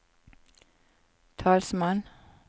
talsmann